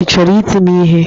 Ị chọrọ iti m ihe?